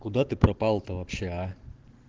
куда ты пропал то вообще а